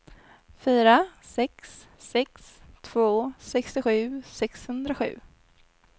fyra sex sex två sextiosju sexhundrasju